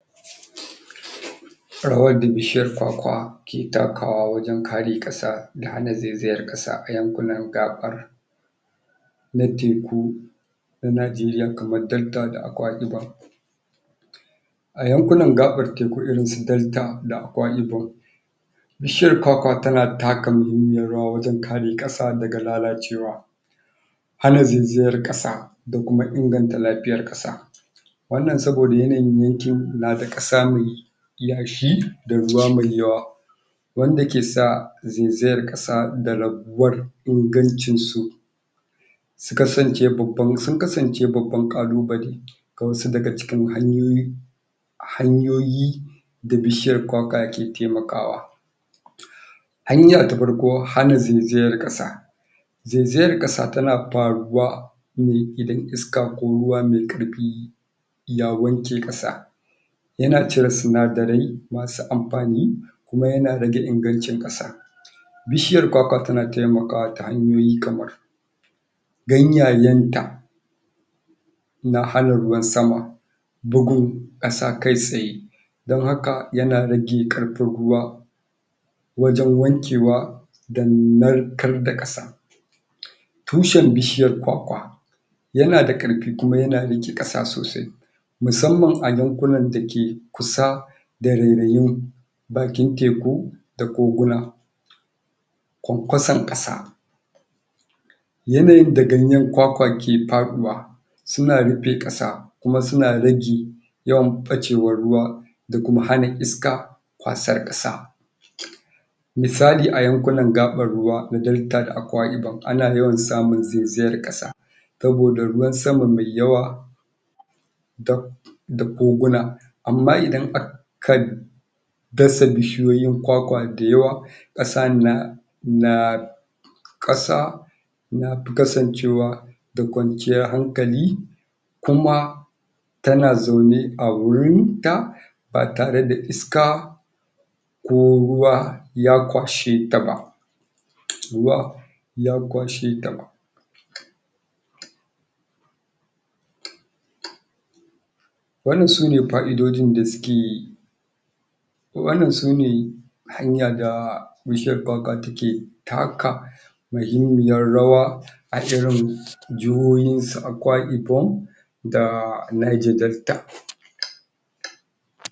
bishiyar kwakwa ke takawa wajen kare kasa da hana ziziyar kasa a yankuna gabar na tirku da na jiriya kamar dabba da a yankunan?? da Akwa Ibom bishiyar kwakwa ta na ta ka muhimmiyar wajen kare kasa daga lalacewa hana zinziyar kasa dakuma ingantan lafiyar kasa wannan soboda yanayin yankin na da kasa mai yashi da ruwa mai yawa wande ke sa zinziyar kasa da rabuwar ingancin su sun kasance babban kalubali ga wasu daga cikin hanyoyi hanyoyi da bishiyar kwakwa ke taimakawa hanya ta farko hana zinziyar kasa zinziyar kasa ta na faruwa ne idan iska ko ruwa mai karfi na wanke kasa yana cire sinadirai masu amfani kuma yana rage ingancin kasa bishiyar kwakwa ta na taimakawa ta hanyoyi kmar ganyayen ta na hana ruwan sama bugun kasa kai tsaye dan haka ya na rage karfin ruwa wajen wankewa da narkar da kasa tushen bishiyar kwakwa ya na dakarfi kuma yana rike kasa sosai musamman a yankuna da ke kasa da rereyen bakin teku ko koguna kwankwasan kasa yanayin da ganyen kwakwa ke fadiwa suna rife kasakuma suna rage yawan bacewan ruwa da kuma hana iska kwasar kasa misali a yankunan gabar ruwa da Delta da Akwa Ibom a na yawan samun zinziyar kasa soboda ruwan sama mai yawa dap da koguna amma idan aka dasa bishiyoyin kwakwa da yawa kasan na kasa na kasancewa da kwanciyan hankali kuma ta na zaune a wurin ta ba tare da iska ko ruwa ya kwashe ta ba ruwa ya kwashe ta ba wannan su ne fa'idodin da suke wannan shi ne hanyar da bishiyan kwakwa ta ke taka muhimmiyar rawa a irin jihohin su Akwa Ibom da Niger Deltta